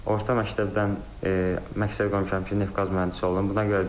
Orta məktəbdən məqsəd qoymuşam ki, neft-qaz mühəndisi olum.